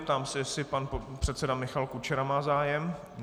Ptám se, jestli pan předseda Michal Kučera má zájem.